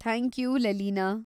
Thank you, ಲೆಲೀನಾ.